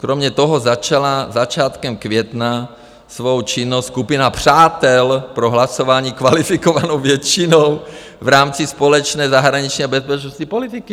Kromě toho začala začátkem května svou činnost Skupina přátel pro hlasování kvalifikovanou většinou v rámci společné zahraniční a bezpečnostní politiky.